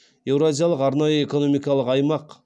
еуразиялық арнайы экономикалық аймақ